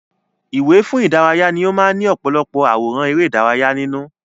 Ìwé fún ìdárayá ni ó máa ń ní ọ̀pọ̀lọpọ̀ àwòrán ère ìdárayá nínú